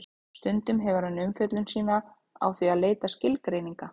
stundum hefur hann umfjöllun sína á því að leita skilgreininga